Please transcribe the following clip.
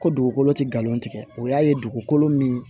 Ko dugukolo ti galon tigɛ o y'a ye dugukolo min